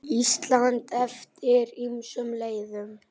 Ísland eftir ýmsum leiðum.